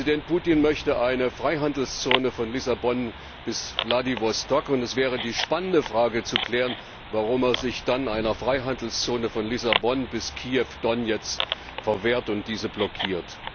Präsident Putin möchte eine Freihandelszone von Lissabon bis Wladiwostok. Es wäre die spannende Frage zu klären, warum er sich dann einer Freihandelszone von Lissabon bis Kiew Donezk verschließt und diese blockiert.